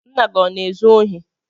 Ńnà gị ọ na-ezu ohi?